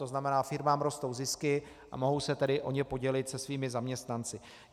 To znamená, firmám rostou zisky, a mohou se tedy o ně podělit se svými zaměstnanci.